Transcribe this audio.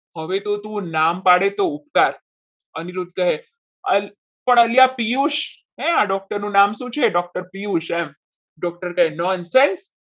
હવે તો તું નામ પાડે તો ઉપકાર અનિરુદ્ધ કહે પણ અલ્યા પિયુષ ના doctor નું નામ શું છે? doctor પિયુષ એમ doctor કરે nonsense